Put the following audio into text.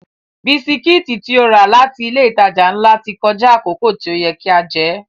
Bisikítì tí ó rà láti ilé ìtajà ńlá ti kọjá àkókò tí ó yẹ kí a jẹ́